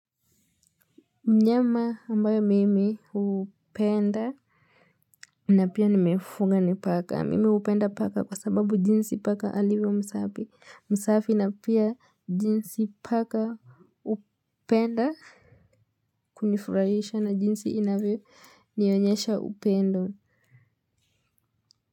Mnyama ambaye mimi upenda. Na pia nimefuga ni paka mimi upenda paka kwa sababu jinsi paka alivyo msafi msafi na pia jinsi paka upenda. Kunifurahisha na jinsi inavyo nionyesha upendo.